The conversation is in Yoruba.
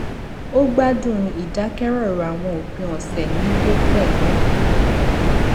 ó gbádùn ìdákẹrọrọ àwọn òpin ọsẹ nílé pẹlú